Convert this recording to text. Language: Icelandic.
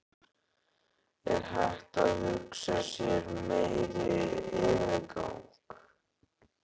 Er hægt að hugsa sér meiri yfirgang?